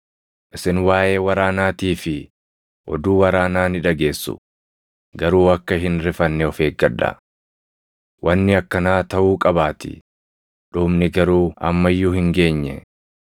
Isin waaʼee waraanaatii fi oduu waraanaa ni dhageessu; garuu akka hin rifanne of eeggadhaa. Wanni akkanaa taʼuu qabaatii; dhumni garuu amma iyyuu hin geenye.